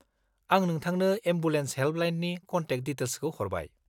आं नोंथांनो एम्बुलेन्स हेल्पलाइननि कन्टेक डिटेल्सखौ हरबाय।